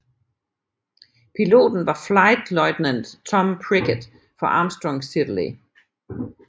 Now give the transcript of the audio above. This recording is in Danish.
Piloten var Flight Lieutenant Tom Prickett fra Armstrong Siddeley